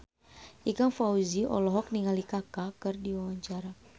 Ikang Fawzi olohok ningali Kaka keur diwawancara